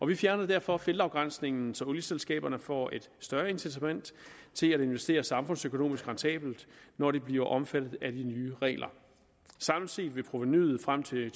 vi fjerner derfor feltafgrænsningen så olieselskaberne får et større incitament til at investere samfundsøkonomisk rentabelt når de bliver omfattet af de nye regler samlet set vil provenuet frem til